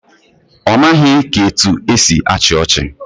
Ọ maghị ka etu esi achị ọchị